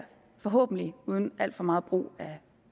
forhåbentlig uden al for megen brug af